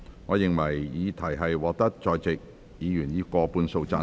我認為議題獲得在席議員以過半數贊成。